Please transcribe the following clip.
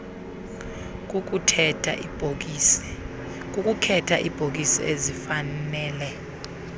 kukukhetha iibhokisi ezifanele